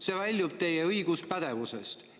See väljub teie õiguspädevusest.